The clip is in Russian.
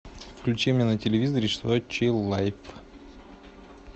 включи мне на телевизоре сочи лайф